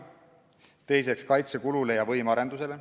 Teiseks, kaitsekulule ja võimearendusele.